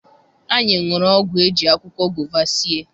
Anyị ṅụrụ ọgwụ eji akwụkwọ gova sie.